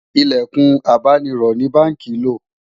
ilẹkùn abáni rò ní bánkì ló